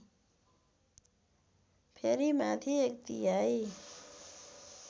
फेरि माथि एकतिहाई